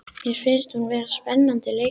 Mér finnst hún vera spennandi leikmaður.